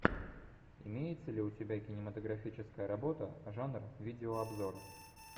имеется ли у тебя кинематографическая работа жанр видеообзор